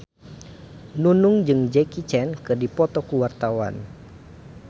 Nunung jeung Jackie Chan keur dipoto ku wartawan